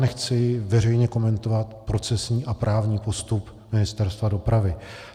Nechci veřejně komentovat procesní a právní postup Ministerstva dopravy.